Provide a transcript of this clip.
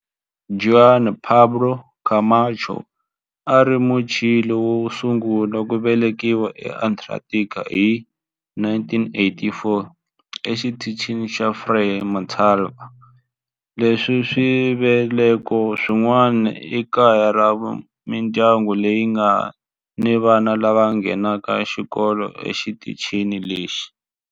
Juan Pablo Camacho a a ri Muchile wo sungula ku velekiwa eAntarctica hi 1984 eXitichini xa Frei Montalva. Sweswi swisekelo swin'wana i kaya ra mindyangu leyi nga ni vana lava nghenaka xikolo exitichini lexi.